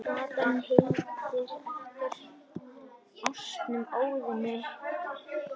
Gatan heitir eftir ásnum Óðni.